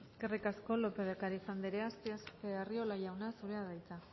eskerrik asko lópez de ocariz andrea arriola jauna zurea da hitza